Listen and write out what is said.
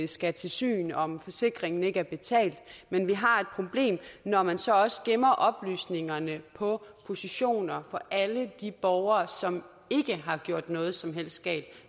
skal til syn om forsikringen ikke er betalt men vi har et problem når man så også gemmer oplysningerne på positioner på alle de borgere som ikke har gjort noget som helst galt og